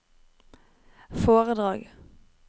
foredrag